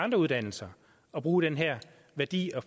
andre uddannelser at bruge den her værdi og